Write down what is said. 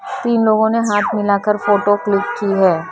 तीन लोगों ने हाथ मिलाकर फोटो क्लिक की है ।